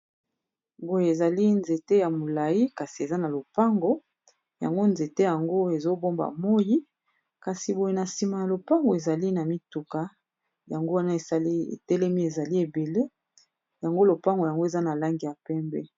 boye ezali nzete ya molai kasi eza na lopango yango nzete yango ezobomba moi kasi boye na nsima ya lopango ezali na mituka yango wana esali etelemi ezali ebele yango lopango yango eza na langi ya pembe